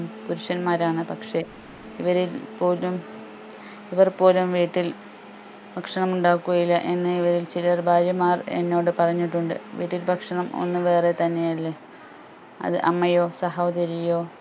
പുരുഷന്മാരാണ് പക്ഷെ ഇവരെ ഏർ പോലും ഇവർ പോലും വീട്ടിൽ ഭക്ഷണം ഉണ്ടാക്കുകയില്ല എന്ന് ഇവരിൽ ചില ഭാര്യമാർ എന്നോട് പറഞ്ഞിട്ടുണ്ട് വീട്ടിൽ ഭക്ഷണം ഒന്ന് വേറെ തന്നെ അല്ലെ അത് അമ്മയോ സഹോദരിയോ